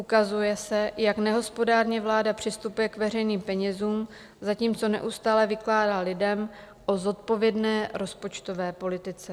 Ukazuje se, jak nehospodárně vláda přistupuje k veřejným penězům, zatímco neustále vykládá lidem o zodpovědné rozpočtové politice.